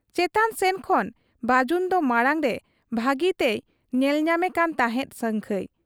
ᱪᱮᱛᱟᱱ ᱥᱮᱱ ᱠᱷᱚᱱ ᱵᱟᱹᱡᱩᱱᱫᱚ ᱢᱟᱬᱟᱝᱨᱮ ᱵᱷᱟᱹᱜᱤᱛᱮᱭ ᱧᱮᱞ ᱧᱟᱢᱮ ᱠᱟᱱ ᱛᱟᱦᱮᱸᱫ ᱥᱟᱹᱝᱠᱷᱟᱹᱭ ᱾